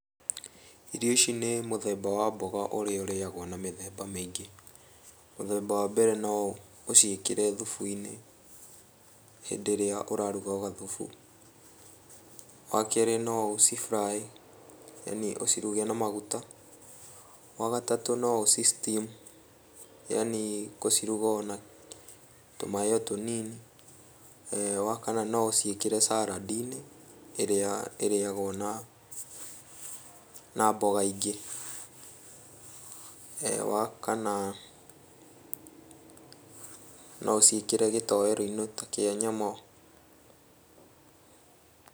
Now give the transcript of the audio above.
Irio ici nĩ mũthemba wa mboga ũrĩa ũrĩagwo na mĩthemba mĩingĩ. Mũthemba wa mbere no ũciĩkĩre thubu-inĩ hĩndĩ ĩrĩa ũraruga gathubu. Wakerĩ no ũci fry yani ũciruge na maguta. Wagatatũ no ũci steam yani gũciruga ona tũ maĩ o tũnini. Wakana no ũciĩkĩre saladi-inĩ, ĩrĩa ĩrĩagwo na, na mboga ingĩ. Wakana no ũciĩkĩre gĩtowero-inĩ ta kĩa nyama